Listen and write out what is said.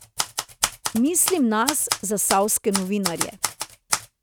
Mislim nas, zasavske novinarje.